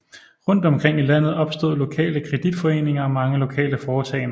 Rundt omkring i landet opstod lokale kreditforeninger og mange lokale foretagender